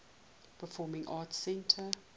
performing arts center